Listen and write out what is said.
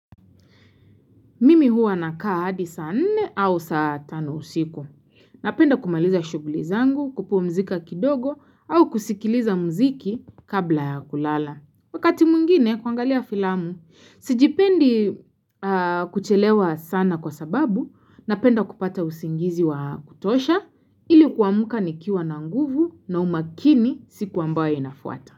Mimi huwa na kaa hadi saa nne au saa tano usiku. Napenda kumaliza shughulizangu, kupumzika kidogo au kusikiliza muziki kabla ya kulala. Wakati mwngine kuangalia filamu, sijipendi kuchelewa sana kwa sababu, napenda kupata usingizi wa kutosha, ilikuamka nikiwa na nguvu na umakini siku ambayo inafuata.